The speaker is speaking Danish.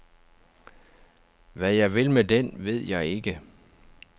Hvad jeg vil med den, ved jeg ikke.